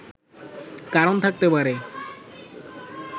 কারণ থাকতে পারে